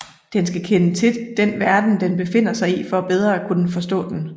Den skal kende til den verden den befinder sig i for bedre at kunne forstå den